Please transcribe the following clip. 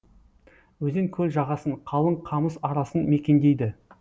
өзен көл жағасын қалың қамыс арасын мекендейді